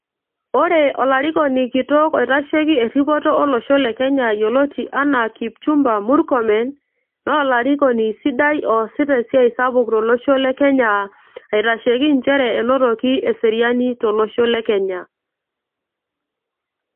ore olarikoni kitok oitasheki erripoto olosho le kenya yioloti enaa Kipchumba murkomen naa olarikoni sidai oosita esiai sapuk tolosho le kenya aitasheki nchere enotoki eseriani tolosho le kenya.